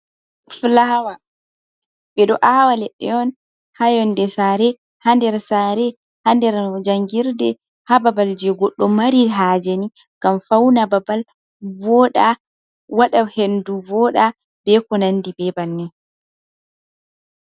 Fulawa ɓe ɗo aawa leɗɗe on haa yonde saare, haa nder saare, haa nder jangirɗe, haa babal jee goɗɗo mari hajeni ngam fauna babal voɗa, wada hendu voɗa, be ko nandi be bannin.